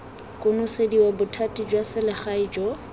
konosediwa bothati jwa selegae jo